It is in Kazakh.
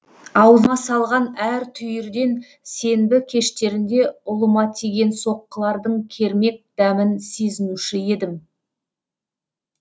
аузыма салған әр түйірден сенбі кештерінде ұлыма тиген соққылардың кермек дәмін сезінуші едім